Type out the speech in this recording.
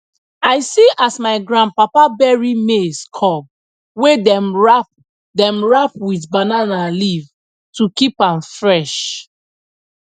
i see as my grandpapa bury maize cob wey dem wrap dem wrap with banana leaf to keep am fresh